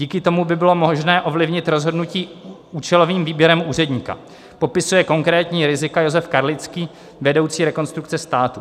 Díky tomu by bylo možné ovlivnit rozhodnutí účelovým výběrem úředníka, opisuje konkrétní rizika Josef Karlický, vedoucí Rekonstrukce státu.